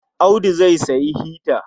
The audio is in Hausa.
Audu zai sayi hita.